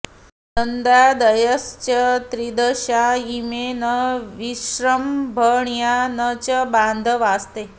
नन्दादयश्च त्रिदशा इमे न विस्रम्भणीया न च बान्धवास्ते